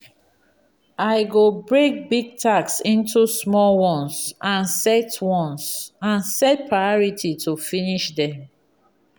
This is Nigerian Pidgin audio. i go break big task into small ones and set ones and set priority to finish them.